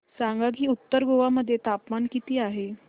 सांगा की उत्तर गोवा मध्ये तापमान किती आहे